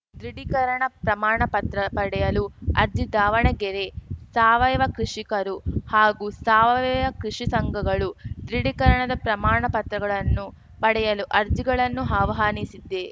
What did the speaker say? ದೃಢೀಕರಣ ಪ್ರಮಾಣ ಪತ್ರ ಪಡೆಯಲು ಅರ್ಜಿ ದಾವಣಗೆರೆ ಸಾವಯವ ಕೃಷಿಕರು ಹಾಗೂ ಸಾವಯವ ಕೃಷಿ ಸಂಘಗಳು ದೃಢೀಕರಣದ ಪ್ರಮಾಣ ಪತ್ರಗಳನ್ನು ಪಡೆಯಲು ಅರ್ಜಿಗಳನ್ನು ಹಾಹ್ವಾನಿಸಿದೆ